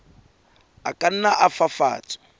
a ka nna a fafatswa